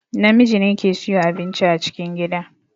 Namiji ne ke siyo abinci a cikin gida